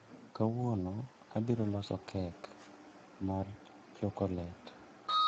Kawuono abiroloso kek mar chokolet